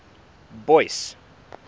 boyce